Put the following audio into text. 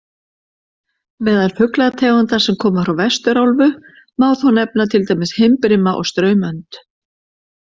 Meðal fuglategunda sem koma frá Vesturálfu má þó nefna til dæmis himbrima og straumönd.